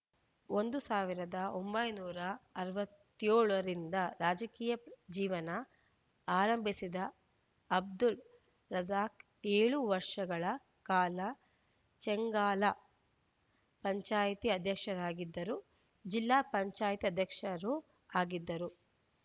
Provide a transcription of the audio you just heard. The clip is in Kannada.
ಸಾವಿರದ ಒಂಬೈನೂರ ಅರವತ್ತ್ ಏಳು ರಿಂದ ರಾಜಕೀಯ ಜೀವನ ಆರಂಭಿಸಿದ್ದ ಅಬ್ದುಲ್‌ ರಜಾಕ್‌ ಏಳು ವರ್ಷಗಳ ಕಾಲ ಚೆಂಗಾಲ ಪಂಚಾಯ್ತಿ ಅಧ್ಯಕ್ಷರಾಗಿದ್ದರು ಜಿಲ್ಲಾ ಪಂಚಾಯ್ತಿ ಅಧ್ಯಕ್ಷರೂ ಆಗಿದ್ದರು